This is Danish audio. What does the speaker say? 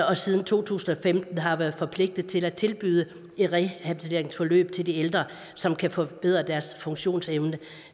og siden to tusind og femten har været forpligtet til at tilbyde rehabiliteringsforløb til de ældre som kan forbedre deres funktionsevne